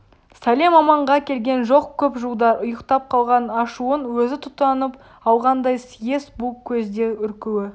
сәлем-аманға келген жоқ көп жылдар ұйықтап қалған ашуын өзі тұтатып алғандай съезд бұл көзде үркуі